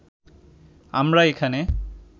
আমরা এখানে